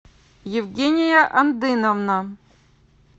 евгения андыновна